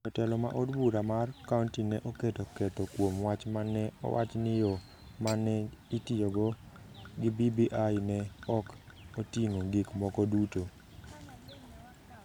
Jo telo ma od bura mar kaonti ne oketo ketho kuom wach ma ne owach ni yo ma ne itiyogo gi BBI ne ok oting’o gik moko duto.